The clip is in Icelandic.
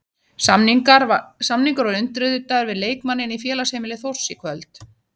Samningur var undirritaður við leikmanninn í félagsheimili Þórs í kvöld.